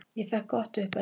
Ég fékk gott uppeldi.